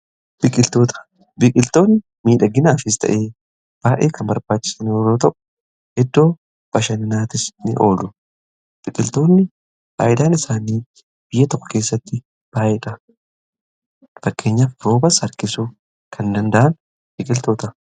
Biqiltoonni miidhaginaafis ta'ee baay'ee kan barbaachisan yeroo ta'u iddoo bashananaatti ni oolu. Biqiltoonni Faayidaan isaanii biyya tokko keessatti baay'eedha. Fakkeenyaf roobas harkisuu kan danda'an biqiltoota.